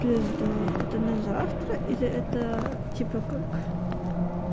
пизда это на завтра или это типа как